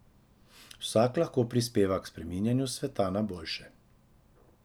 Vsak lahko prispeva k spreminjanju sveta na boljše.